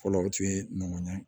Fɔlɔ o tun ye nɔgɔn ɲa